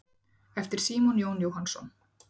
eftir símon jón jóhannsson